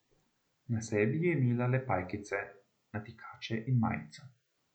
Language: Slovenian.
Na sebi je imela le pajkice, natikače in majico.